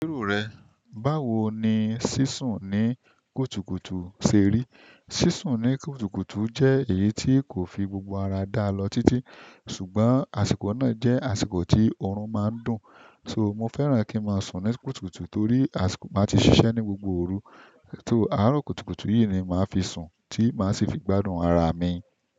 Báwo ni sísùn ní kùtùkùtù ṣe rí? Sisun ni kùtùkùtù je èyí ti o fi gbogbo ara daa lo titi. Ṣùgbọ́n, àsìkò náà jẹ́ àsìkò tí oorun máa ń dùn. So mo fẹ́ràn kí máa sùn ní kùtùkùtù torí àsìkò máa ti ṣiṣẹ́ ní gbogbo òru. Torí àárọ̀ kùtùkùtù yìí ni màá fi sùn tí màá sì fi gbádùn ara mi.